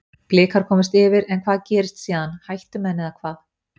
Blikar komust yfir, en hvað gerðist síðan, hættu menn eða hvað?